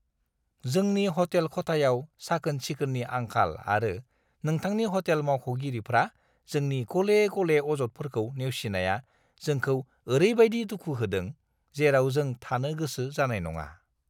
जोंनि हटेल खथायाव साखोन-सिखोननि आंखाल आरो नोंथांनि हटेल मावख'गिरिफ्रा जोंनि गले-गले अजदफोरखौ नेवसिनाया जोंखौ ओरैबायदि दुखु होदों, जेराव जों थानो गोसो जानाय नङा।